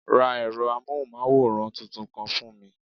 Ra ẹ̀rọ amóhùnmáwòrán tuntun kan fún mi